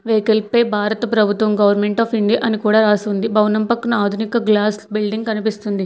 Vehicle పై భారత ప్రభుత్వం గవర్నమెంట్ ఆఫ్ ఇండియా అని కూడా రాసింది భవనం పక్కన ఆధునిక గ్లాస్ బిల్డింగ్ కనిపిస్తుంది.